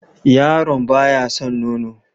Yaron ba ya san nono?